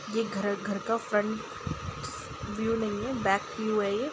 ये घर घर का फ्रंट फ्रंट व्यू नहीं है बैक व्यू है ये।